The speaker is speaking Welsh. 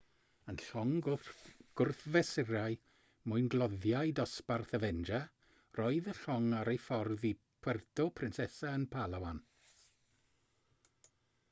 yn llong gwrthfesurau mwyngloddiau dosbarth avenger roedd y llong ar ei ffordd i puerto princesa yn palawan